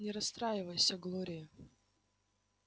не расстраивайся глория